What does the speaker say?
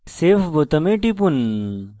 save বোতামে টিপুন